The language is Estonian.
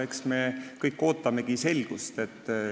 Eks me kõik ootamegi selgust.